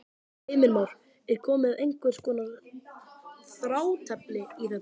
Heimir Már: Er komið einhvers konar þrátefli í þetta?